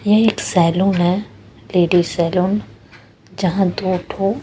ये एक सैलून है लेडी सैलून जहां दो थो--